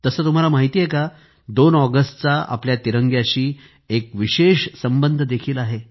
तसं तुम्हाला माहिती आहे का 2 ऑगस्ट चा आपल्या तिरंग्याशी एक विशेष संबंध देखील आहे